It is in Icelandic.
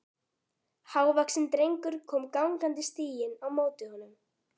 Hávaxinn drengur kom gangandi stíginn á móti honum.